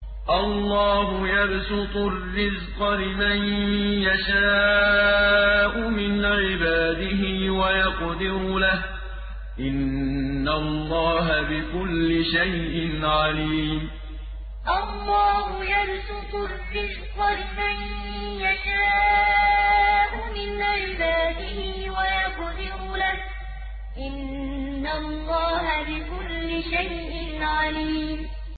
اللَّهُ يَبْسُطُ الرِّزْقَ لِمَن يَشَاءُ مِنْ عِبَادِهِ وَيَقْدِرُ لَهُ ۚ إِنَّ اللَّهَ بِكُلِّ شَيْءٍ عَلِيمٌ اللَّهُ يَبْسُطُ الرِّزْقَ لِمَن يَشَاءُ مِنْ عِبَادِهِ وَيَقْدِرُ لَهُ ۚ إِنَّ اللَّهَ بِكُلِّ شَيْءٍ عَلِيمٌ